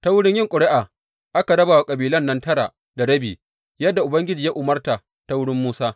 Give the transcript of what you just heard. Ta wurin yin ƙuri’a aka raba wa kabilan nan tara da rabi, yadda Ubangiji ya umarta ta wurin Musa.